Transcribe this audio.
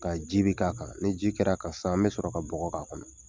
Ka ji be k'a kan. Ni ji kɛr'a kan sisan, an be sɔrɔ ka bɔgɔ k'a kɔnɔ.